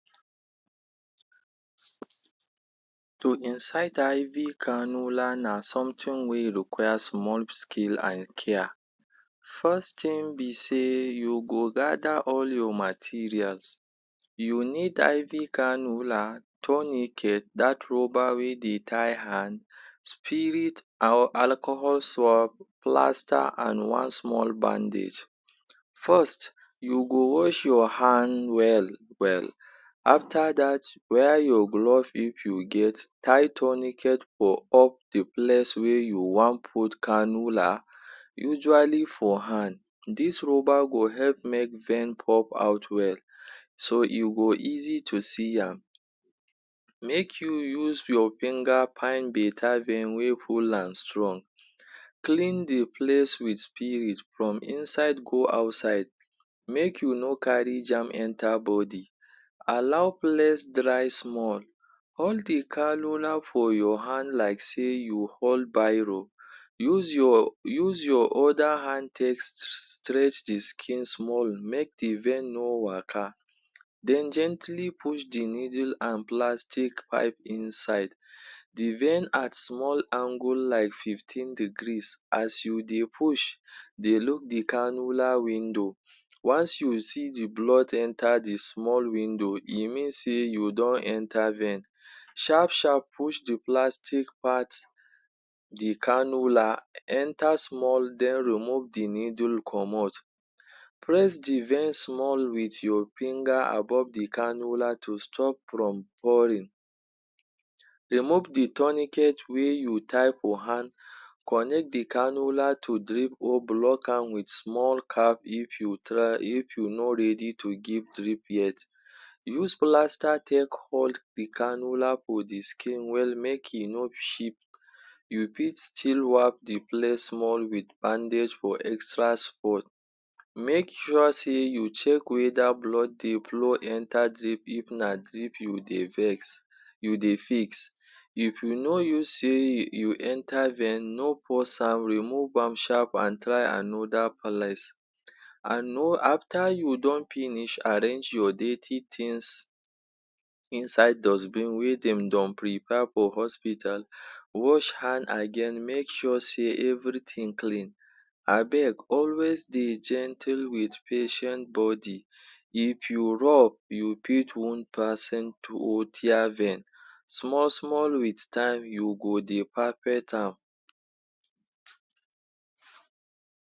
To insert IV cannula na something wey require small skill and care. First thing be sey you go gather all your materials; you need IV cannula, tourniquet: dat rubber wey dey tie hand, spirit or alcohol, plaster and one small bandage. First you go wash your hand well well. After dat wear your gloves if you get, tie tourniquet for up de place wey you wan put cannula usually for hand. Dis rubber go help make vein pop out well so you go easy to see am. Make you use your finger find better vein wey full am strong. Clean de place wit spirit from inside go outside, make you no carry germ enter body. Allow place dry small, hold de cannula for your hand like sey you hold biro. Use your use your use your other hand take stretch skin small make de vein no waka. Den gently push de needle and plastic pipe inside de vein at small angle like fifteen degrees. As you dey push, dey look de cannula window. Once you see de blood enter de small window e mean sey you don enter vein. Sharp sharp push de plastic part de cannula enter small den remove de needle comot, press de vein small wit your finger above de cannula to stop from pouring. Remove de tourniquet wey you tie for hand, connect de cannula to drip or block am wit small cap if you try if you no ready to give drip yet. Use plaster take hold de cannula for de skin well wey make e no shift, you fit still wrap de place small wit bandage or extra?. Make sure sey you check whether blood dey flow enter drip if na drip you dey vex you dey fix. If you know you sey you enter vein no pause am, remove am sharp and try another place. And know after you don finish, arrange your dirty things inside dustbin wey dem don prepare for hospital, wash hand again make sure sey everything clean. Abeg always dey gentle wit patient body, if you you fit wound person or tear vein. Small small wit time you go dey perfect am.